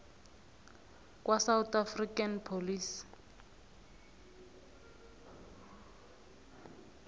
kwasouth african police